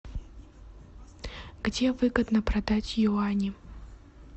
где выгодно продать юани